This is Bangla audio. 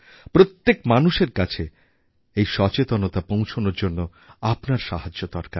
প্রত্যেক মানুষের কাছে এই সচেতনতা পৌঁছানোর জন্য আপনার সাহায্য দরকার